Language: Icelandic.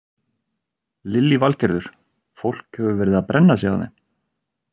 Lillý Valgerður: Fólk hefur verið að brenna sig á þeim?